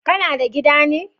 Kana da gida ne?